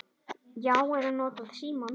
Já. eða notað símann.